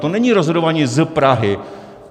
To není rozhodování z Prahy.